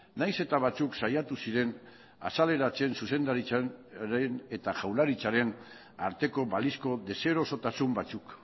nahiz eta batzuk saiatu ziren azaleratzen zuzendaritzaren eta jaurlaritzaren arteko balizko deserosotasun batzuk